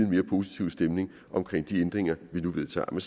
mere positiv stemning omkring de ændringer vi nu vedtager men